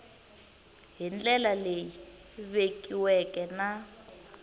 hi ndlela leyi vekiweke na